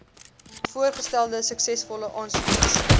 voorgestelde suksesvolle aansoekers